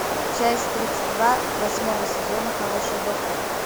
часть тридцать два восьмого сезона хороший доктор